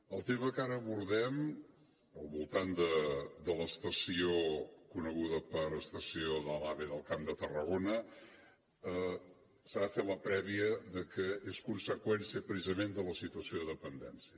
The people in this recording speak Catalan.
en el tema que ara abordem al voltant de l’estació coneguda per estació de l’ave del camp de tarragona s’ha de fer la prèvia que és conseqüència precisament de la situació de dependència